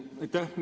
Aitäh!